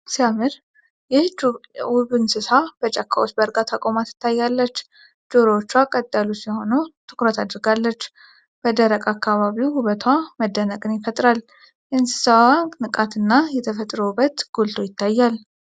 "ዋው! ሲያምር!" ይህች ውብ እንስሳ በጫካ ውስጥ በእርጋታ ቆማ ትታያለች። ጆሮዎቿ ቀጥ ያሉ ሲሆኑ ትኩረት አድርጋለች። በደረቅ አካባቢው፣ ውበቷ መደነቅን ይፈጥራል። የእንስሳዋ ንቃት እና የተፈጥሮ ውበት ጎልቶ ይታያል።